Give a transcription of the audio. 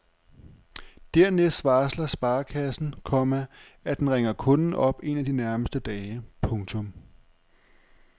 Dernæst varsler sparekassen, komma at den ringer kunden op en af de nærmeste dage. punktum